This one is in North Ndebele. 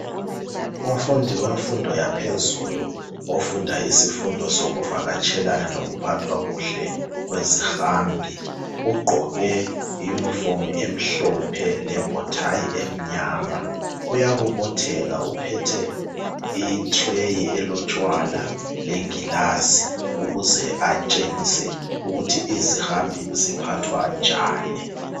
Umfundi wemfundo yaphezulu ofunda isifundo sokuvakatshelana lokuphathwa kuhle kwezihambi. Ugqoke iyunifomi emhlophe lebhothayi emnyama uyabobotheka uphethe i-tray elotshwala lengilazi ukuze atshengise ukuthi izihambi ziphathwa njani.